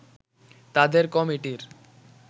তাদের কমিটির